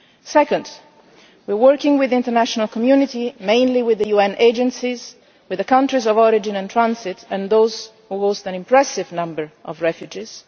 Secondly, we are working with the international community mainly with the UN agencies, with the countries of origin and transit and those who host an impressive number of refugees.